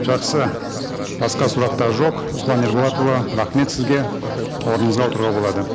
жақсы басқа сұрақтар жоқ руслан ерболатұлы рахмет сізге орныңызға отыруға болады